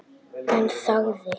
En þagði.